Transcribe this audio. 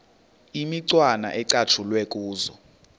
imicwana ecatshulwe kuzo